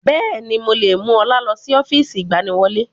Bẹ́ẹ̀ni, mo lè mú ọlá lọ sí ọ́fíìsì ìgbaniwọlé